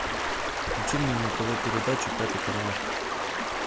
включи мне на тв передачу пятый канал